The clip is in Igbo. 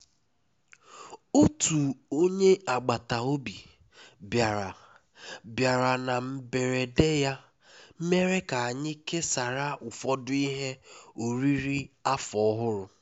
otu onye agbata obi biara biara na mberede ya mere anyị kesara ụfọdụ ihe oriri afọ ọhụrụ